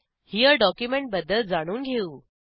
हेरे document बद्दल जाणून घेऊ